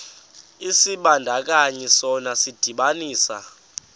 isibandakanyi sona sidibanisa